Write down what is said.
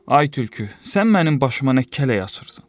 Ay tülkü, sən mənim başıma nə kələk açırsan?